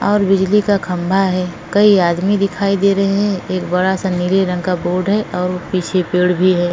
और बिजली का खंबा है। कई आदमी दिखाई दे रहे हैं। एक बड़ा सा नीले रंग का बोर्ड है और वो पीछे पेड़ भी है।